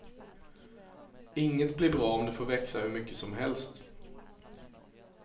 Inget blir bra om det får växa hur mycket som helst.